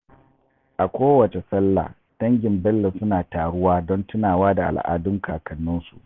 A kowace Sallah, dangin Bello suna taruwa don tunawa da al’adun kakanninsu.